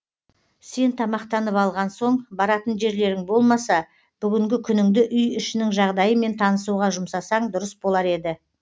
сен тамақтанып алған соң баратын жерлерің болмаса бүгінгі күніңді үй ішінің жағдайымен танысуға жұмсасаң дұрыс болар еді